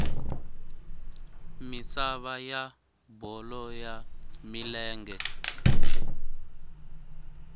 misava ya bolo ya milenge